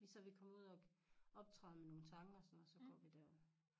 Så vi kommer ud og optræde med nogle tange og sådan noget så går vi dér